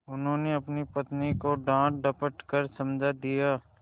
उन्होंने अपनी पत्नी को डाँटडपट कर समझा दिया